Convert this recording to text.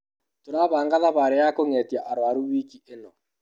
Tũrabanga thabari ya kũngetia arwaru wiki ĩno.